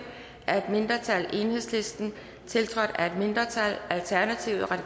af et mindretal tiltrådt af et mindretal